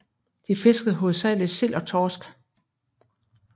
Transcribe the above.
De fiskede hovedsageligt sild og torsk